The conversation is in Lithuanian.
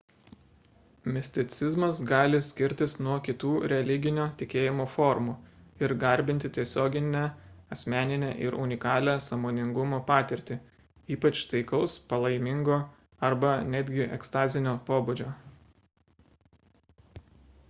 misticizmas gali skirtis nuo kitų religinio tikėjimo formų ir garbinti tiesioginę asmeninę ir unikalią sąmoningumo patirtį ypač taikaus palaimingo arba netgi ekstazinio pobūdžio